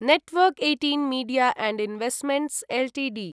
network १८ media & investments Ltd